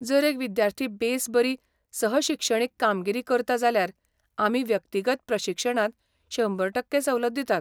जर एक विद्यार्थी बेस बरी सह शिक्षणीक कामगिरी करता जाल्यार आमी व्यक्तिगत प्रशिक्षणांत शंबर टक्के सवलत दितात.